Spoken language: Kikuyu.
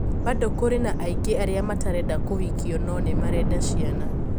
Bado kũri na aingi aria matarenda kũhikio no nimarenda ciana."